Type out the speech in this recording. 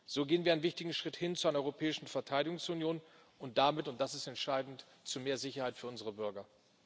So gehen wir einen wichtigen Schritt hin zu einer Europäischen Verteidigungsunion und damit und das ist entscheidend zu mehr Sicherheit für unsere Bürger.